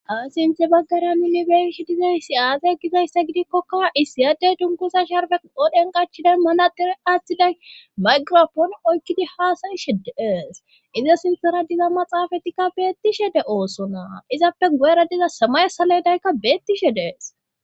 Aasiinthe baggara minnibeesh dizayssi aazay gizayssa gidikkokka isiyadey dunkusa sharfe qodhen qachiday malader aaththiday maygirapoon oykkidi haasayi shedeees iza sintara diza maxaafatikka beettishe de oosonaa izappe guera diza samay saledaykka beettishe dees.